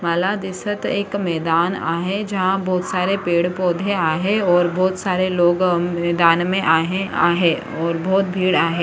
मला दिसत एक मैदान आहे जहा बहुत सारे पेड़-पौधे आहे और बहुत सारे लोग हम्म मैदान मे आहे आहे और बहुत भेड़ आ--